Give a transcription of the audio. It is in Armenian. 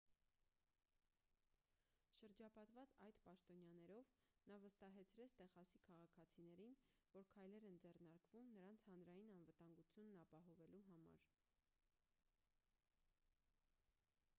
շրջապատված այդ պաշտոնյաներով նա վստահեցրեց տեխասի քաղաքացիներին որ քայլեր են ձեռնարկվում նրանց հանրային անվտանգությունն ապահովելու համար